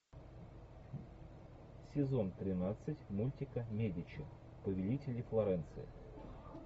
сезон тринадцать мультика медичи повелители флоренции